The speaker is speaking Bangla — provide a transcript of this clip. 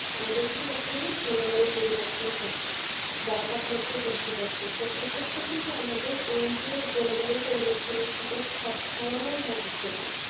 আমাদের কিন্তু বর্তমানে জলবায়ু পরিবর্তন হচ্ছে। বা তাপমাত্রার বৃদ্ধি বাড়ছে। এই ক্ষেত্রে কিন্তু আমাদের এই যে জনবায়ের পরিবর্তন সাথে খাপ খাওয়ানোর মাধ্যমে